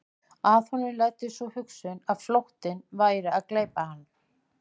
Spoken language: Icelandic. Að honum læddist sú hugsun að flóttinn væri að gleypa hann.